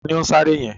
Taàní ó ń sáré yẹn?